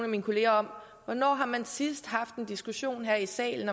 mine kollegaer om hvornår har man sidst haft en diskussion her i salen